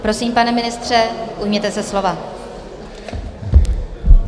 Prosím, pane ministře, ujměte se slova.